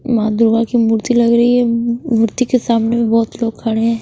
माँ दुर्गा की मूर्ति लग रही हैम म मूर्ति के सामने बहुत लोग खड़े हैं।